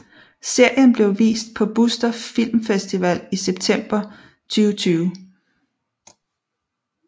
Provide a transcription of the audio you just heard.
Serien blev vist på Buster Filmfestival i september 2020